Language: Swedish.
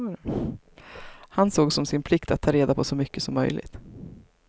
Han såg som sin plikt att ta reda på så mycket som möjligt.